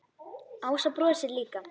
Ása brosir líka.